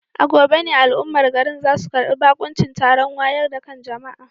A gobe ne al'ummar garin za su karbi bakuncin taron wayar da kan jama'a.